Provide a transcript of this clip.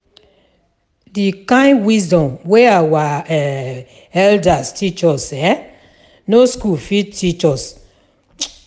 The kind wisdom wey our um elders teach us, um no school fit teach us. um